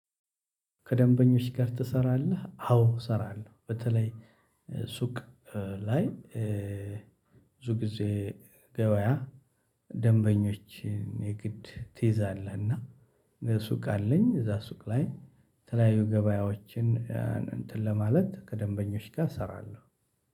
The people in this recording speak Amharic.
ከደንበኞች ጋር ትሰራለህ? አዎ እሰራለሁ። በተለይ ሱቅ ላይ ብዙ ጊዜ ገበያ ደንበኞችን የግድ ትይዛለህና። እና ሱቅ አለኝ እዛ ሱቅ ላይ የተለያዩ ገበያዎችን እንትን ለማለት ከደንበኞች ጋር እሰራለሁ።